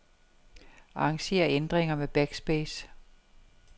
Arranger ændringer med backspace.